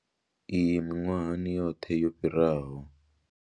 Iyi miṅwahani yoṱhe yo fhiraho.